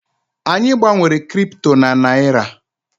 Anyị gbanwere Kripto na Naịra.